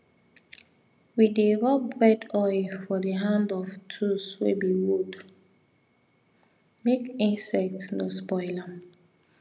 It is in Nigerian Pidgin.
we dey rub red oil for the hand of tools wey be wood make insect no spoil am